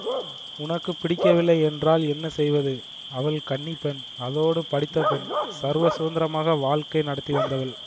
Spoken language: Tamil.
உனக்கு பிடிக்கவில்லை என்றால் என்ன செய்வது அவள் கன்னிப்பெண் அதோடு படித்த பெண் சர்வ சுதந்திரமாக வாழ்க்கை நடத்தி வந்தவள்